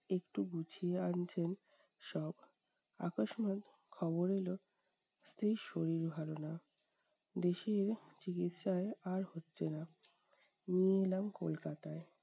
একটু গুছিয়ে আনছেন সব। আকসময় খবর এলো, স্ত্রীর শরীর ভালো না। দেশের চিকিৎসায় আর হচ্ছে না, নিয়ে এলাম কলকাতায়।